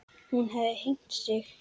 Hún hefði hengt sig.